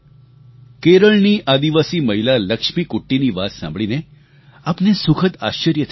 કેરળની આદિવાસી મહિલા લક્ષ્મીકુટ્ટીની વાત સાંભળીને આપને સુખદ આશ્ચર્ય થશે